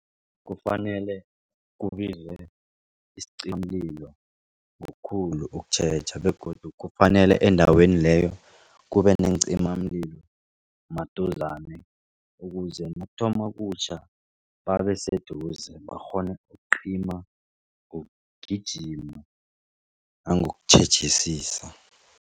Kufanele kubizwe ngokukhulu ukutjheja begodu kufanele endaweni leyo kube neencimamlilo maduzane ukuze nakuthoma ukutjha babeseduze bakghone ukucima nangokutjhejisa.